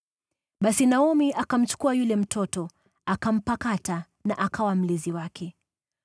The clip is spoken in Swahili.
Basi Naomi akamchukua yule mtoto, akampakata na akawa mlezi wake.